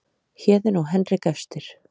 Héðinn og Henrik efstir